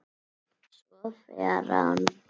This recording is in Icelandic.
Svo fer hann.